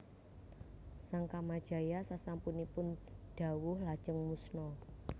Sang Kamajaya sasampunipun dawuh lajeng musna